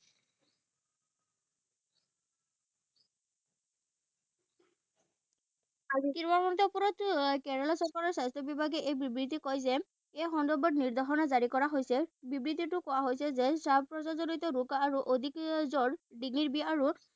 তিৰুৱন্তপুৰমত কেৰেলা চৰকাৰৰ স্বাস্থ্য বিভাগে এই বিবৃতি কয় যে এই সন্দৰ্ভত নিৰ্দেশনা জাৰী কৰা হৈছে। বিবৃতিটোত কোৱা হৈছে যে শ্বাস প্ৰশ্বাসজনিত ৰোগ আৰু